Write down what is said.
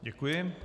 Děkuji.